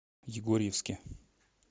егорьевске